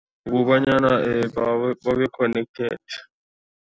Kukobanyana babe connected.